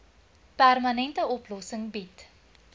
permanente oplossing bied